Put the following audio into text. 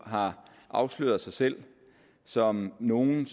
har afsløret sig selv som nogle